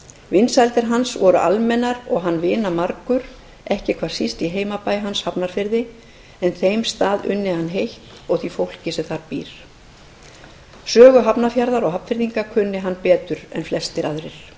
vinsældir hans voru almennar og hann vinamargur ekki hvað síst í heimabæ hans hafnarfirði en þeim stað unni hann heitt og því fólki sem þar býr sögu hafnarfjarðar og hafnfirðinga kunni hann betur en flestir aðrir